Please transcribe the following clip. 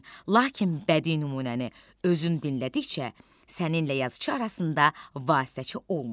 Lakin bədii nümunəni özün dinlədikcə səninlə yazıçı arasında vasitəçi olmur.